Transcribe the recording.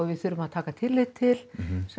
við þurfum að taka tillit til